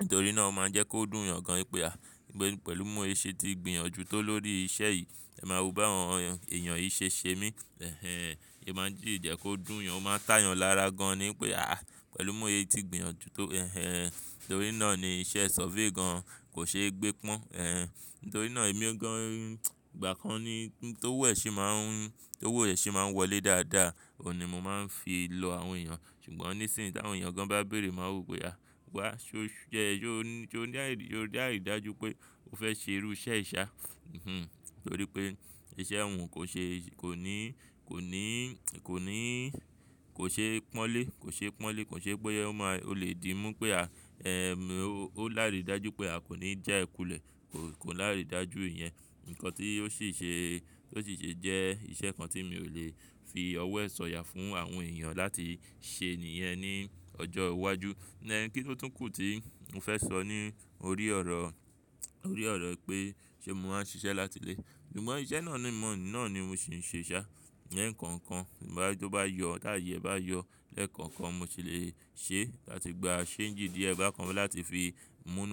nítorí náà ó máa ń jẹ́ kó dùn èèyàn gan wípé à, pé pẹ̀lú mú ẹ ṣe ti gbìyànjú tó lórí iṣẹ́ yìí, ẹ máa wo bá àwọn èèyàn yìí ṣe ṣe mí. Ẹhẹ́n, ẹ máa jí jẹ́ kó dùn èèyàn, ó máa táyàn lára gan ní pé à, pẹ̀lú mú ẹ ti gbìyànjú tó, ẹhẹ́n. Nítorí náà ni iṣẹ́ survey gan kò ṣe é gbé pọ́n. Ẹ̀ẹ̀, nítorí náà èmi gan, ìgbà kan ni ti owo ẹ́ ṣi máa ń, tó owo ẹ́ ṣi máa ń wọlé dáadáa. Ó ní mo máa ń fi lọ àwọn èèyàn. Ṣùgbọ́n ní ìsìn tí àwọn èèyàn gan bá bèèrè máa wo pe ahh Wá, ṣó jẹ́ ṣó ní àì, ṣó ní àìridájú pé ó fẹ́ ṣe irú iṣẹ́ ìṣá? Hmm, nítorí pé iṣẹ́ òun kò ṣe, kò ní, kò ní, kò ní, kò ṣe pọ́nlé, kò ṣe pọ́nlé, kò ṣe pé ó máa, ó lè di mú pé à, ẹ́ẹ̀, ó láìrí dájú pé à kò ní jẹ́ ẹ kulẹ̀. Kò láìrí dájú ìyẹn. Ǹkan tí ó sì ṣe, tó sì ṣe jẹ́ iṣẹ́ kan tí mi ò lè fi ọwọ́ e sọ̀yà fún àwọn èèyàn láti ṣe nìyẹn ní ọjọ́ iwájú. Ẹ̀ẹ̀, kí tó tún kù tí mo fẹ́ sọ ní orí ọ̀rọ̀, orí ọ̀rọ̀ pé ṣé mo máa ń ṣiṣẹ́ láti ilé. Ṣùgbọ́n iṣẹ́ náà ni, ìmọ̀ náà ni mo sì ń ṣe ṣá. Leekan kan, tí bá ri toba yọ, ti aye ẹ bá yọ lẹ́ẹ̀kan kan, mo sì lè ṣe láti gba change díẹ̀ bákan fẹ́ láti fi mú ná.